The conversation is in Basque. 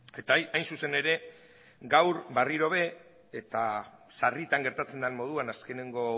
eta hain zuzen ere gaur berriro be eta sarritan gertatzen dan moduan azkenengo